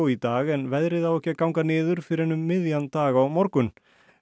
í dag en veðrið á ekki að ganga niður fyrr en um miðjan dag á morgun